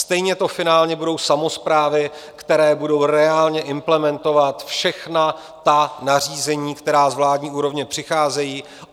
Stejně to finálně budou samosprávy, které budou reálně implementovat všechna ta nařízení, která z vládní úrovně přicházejí.